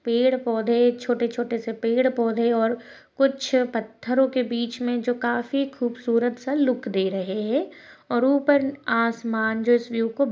पेड़ पौधे छोटे छोटे से पेड़ पौधे और कुछ पत्थरोंके बीच में जो काफी खूबसूरत सा लूक दे रहे है और ऊपर आसमान जो इस विव को --